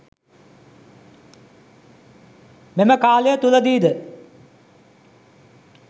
මෙම කාලය තුළදී ද